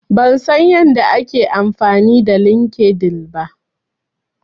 Ban san yadda ake amfani da LinkedIn ba.